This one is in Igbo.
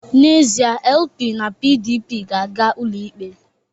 N'ezie, LP na PDP ga-aga ụlọikpe